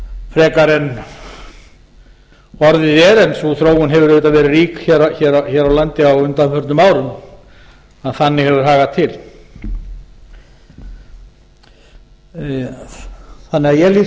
frekar en orðið er en sú þór hefur auðvitað verið rík hér á landi á undanförnum árum ef þannig hefur hagað til ég lít því svo